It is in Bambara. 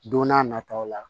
Don n'a nataw la